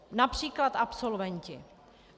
Například absolventi.